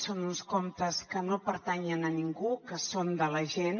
són uns comptes que no pertanyen a ningú que són de la gent